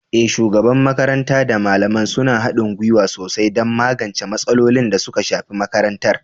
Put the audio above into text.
Eh, shugaban makaranta da malamai suna haɗin gwiwa sosai don magance matsalolin da suka shafi makarantar.